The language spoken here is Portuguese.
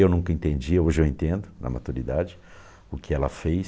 Eu nunca entendi, hoje eu entendo, na maturidade, o que ela fez.